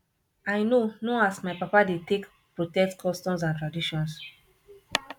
i know know as my papa dey take protect customs and traditions